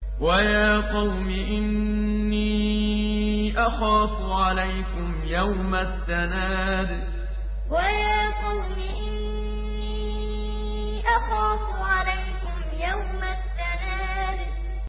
وَيَا قَوْمِ إِنِّي أَخَافُ عَلَيْكُمْ يَوْمَ التَّنَادِ وَيَا قَوْمِ إِنِّي أَخَافُ عَلَيْكُمْ يَوْمَ التَّنَادِ